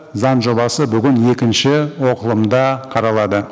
заң жобасы бүгін екінші оқылымда қаралады